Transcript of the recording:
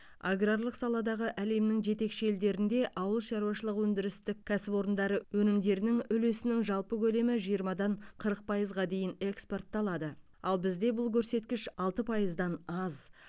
аграрлық саладағы әлемнің жетекші елдерінде ауыл шаруашылық өндірістік кәсіпорындары өнімдерінің үлесінің жалпы көлемі жиырмадан қырық пайызға дейін экспортталады ал бізде бұл көрсеткіш алты пайыздан аз